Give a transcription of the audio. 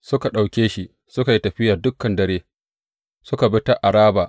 Suka ɗauke shi, suka yi tafiya dukan dare suka bi ta Araba.